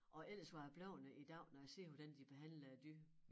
Og ellers var jeg blevet det i dag når jeg ser hvordan de behandler æ dyr